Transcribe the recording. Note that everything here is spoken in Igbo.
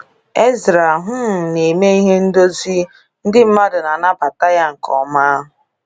Ezra um na-eme ihe ndozi, ndị mmadụ na-anabatakwa ya nke ọma.